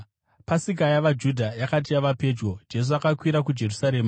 Pasika yavaJudha yakati yava pedyo, Jesu akakwira kuJerusarema.